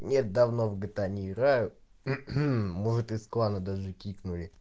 нет давно в гта не играю может из клана даже кикнули